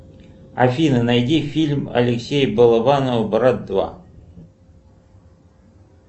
афина найди фильм алексея балабанова брат два